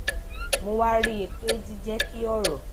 mo wá rí i pé jíjé kí òrò